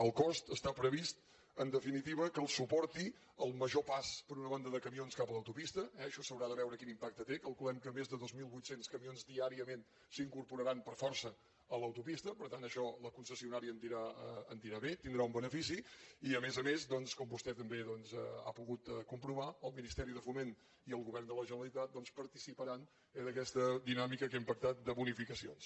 el cost està previst en definitiva que el suporti el major pas per una banda de camions cap a l’autopista eh això s’haurà de veure quin impacte té calculem que més de dos mil vuit cents camions diàriament s’incorporaran per força a l’autopista per tant això la concessionària en dirà bé tindrà un benefici i a més a més doncs com vostè també ha pogut comprovar el ministeri de foment i el govern de la generalitat participaran d’aquesta dinàmica que hem pactat de bonificacions